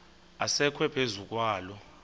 asekwe phezu kwaloo